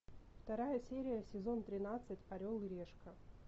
вторая серия сезон тринадцать орел и решка